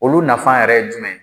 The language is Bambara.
Olu nafa yɛrɛ ye jumɛn ye?